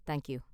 Thank you.